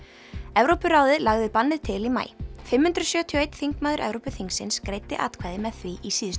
Evrópuráðið lagði bannið til í maí fimm hundruð sjötíu og eitt þingmaður Evrópuþingsins greiddi atkvæði með því í síðustu